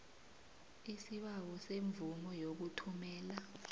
isibawo semvumo yokuthumela